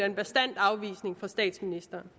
en bastant afvisning fra statsministeren